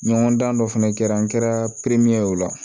Ɲɔgɔndan dɔ fana kɛra an kɛra perime ye o la